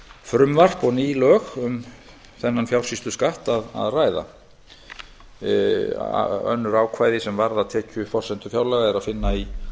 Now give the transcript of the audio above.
frumvarp og ný lög um þennan fjársýsluskatt önnur ákvæði sem varða tekjuforsendur fjárlaga er að finna í